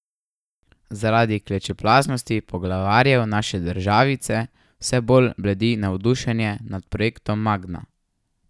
Zaradi klečeplaznosti poglavarjev naše državice vse bolj bledi navdušenje nad projektom Magna.